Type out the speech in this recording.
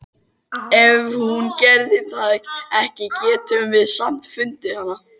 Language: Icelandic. Ef hún gerði það ekki getum við samt fundið hana.